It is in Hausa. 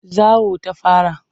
Zawo ta fara.